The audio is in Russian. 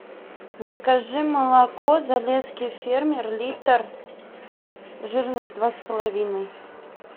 закажи молоко залесский фермер литр жирность два с половиной